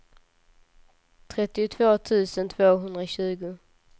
trettiotvå tusen tvåhundratjugo